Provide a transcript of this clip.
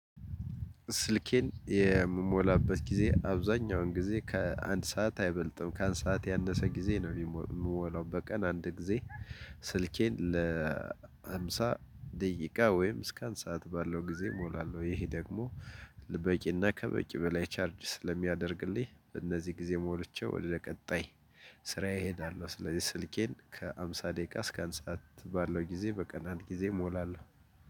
ስልኬን የምሞላበት ጊዜ አብዛኛውን ጊዜ ከአንድ ሰዓት አይበልጥም ካአንድ ሰዓት ያነሰ ጊዜ ነው የምሞላው በቀን አንድ ጊዜ። ስልኬን ለሃምሳ ደቂቃ ወይም እስከ አንድ ሰዓት ባለው ጊዜ እሞላለሁ ይሄ ደግሞ በቂና ከበቂ በላይ ቻርጅ ስለሚያደርግልኝ እነዚህ ጊዜ ሞልቼ ወደ ቀጣይ ስራ እሄዳለሁ። ስለዚህ ስልኬን ከሃምሳ ደቂቃ እስከ አንድ ሰዓት ባለው ጊዜ በቀን አንድ ጊዜ እሞላለሁ።